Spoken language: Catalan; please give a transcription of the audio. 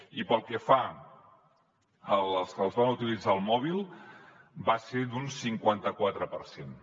i pel que fa als que les van utilitzar al mòbil va ser d’un cinquanta quatre per cent